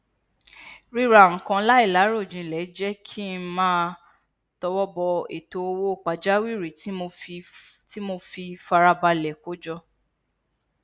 ríra nnkan láìláròjinlẹ jẹ kí n máa tọwọ bọ ètò owó pàjáwìrì tí mo fi farabalẹ kó jọ